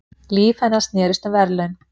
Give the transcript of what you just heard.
Líf hennar snerist um verðlaun.